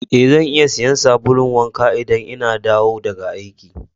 Eh, zan iya siya sabulu wanka idan n'na dawo daga aiki.